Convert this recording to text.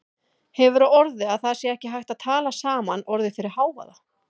Hefur á orði að það sé ekki hægt að tala saman orðið fyrir hávaða.